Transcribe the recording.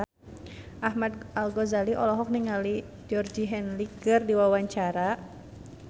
Ahmad Al-Ghazali olohok ningali Georgie Henley keur diwawancara